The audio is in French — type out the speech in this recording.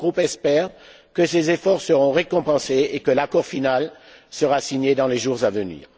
Mon groupe espère que ces efforts seront récompensés et que l'accord final sera signé dans les jours à venir.